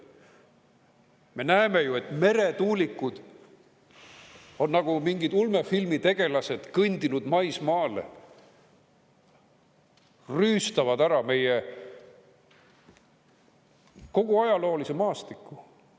Me näeme ju, et meretuulikud on nagu mingid ulmefilmi tegelased kõndinud maismaale, rüüstavad ära meie kogu ajaloolise maastiku.